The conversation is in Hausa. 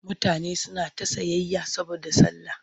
Mutane suna ta sayayya saboda sallah.